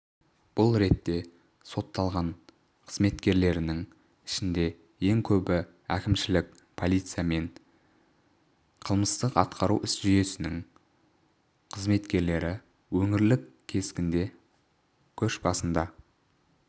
бұл ретте сотталған қызметкерлрінің ішінде ең көбі әкімшілік полиция мен қылмыстық-атқару жүйесінің қызметкерлері өңірлік кескінде көшбасында